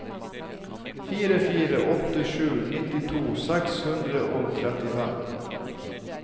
fire fire åtte sju nittito seks hundre og trettifem